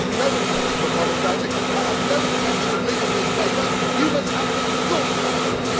I have no intention of apologising, I have no intention of leaving this Chamber you must have me escorted out, Sir!